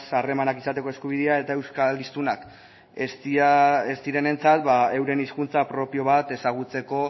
harremanak izateko eskubidea eta euskal hiztunak ez direnentzat euren hizkuntza propio bat ezagutzeko